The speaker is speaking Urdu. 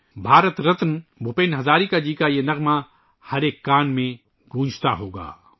بھارت رتن بھوپین ہزاریکا جی کا یہ گانا ہر ایک کان میں گونجتا ہو گا